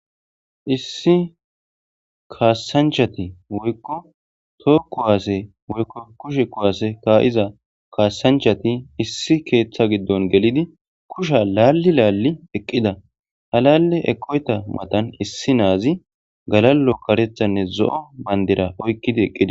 issi kaassanchati woykko tookku waase woykko kushe kuwaase kaa7iza kaasanchati issi keeththa giddon gelidi kusha laalli laalli eqqida halale eqoyta matan issi naazi galallo karethanne zo7o bandira oykkidi eqqida